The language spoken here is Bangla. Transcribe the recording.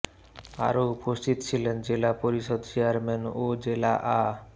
আরও উপস্থিত ছিলেন জেলা পরিষদ চেয়ারম্যান ও জেলা আ